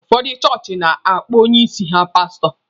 Ụfọdụ chọọchị na-akpọ onye isi ha paasụtọ.